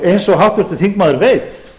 eins og háttvirtur þingmaður veit